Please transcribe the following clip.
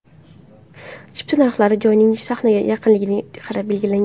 Chipta narxlari joyning sahnaga yaqinligiga qarab belgilangan.